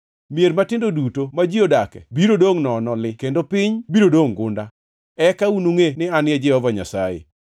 Mier matindo duto ma ji odakie biro dongʼ nono li kendo piny biro dongʼ gunda. Eka unungʼe ni An e Jehova Nyasaye.”